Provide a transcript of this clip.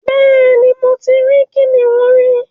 Bẹ́ẹ̀ ni, mo ti rí kìnnìún rí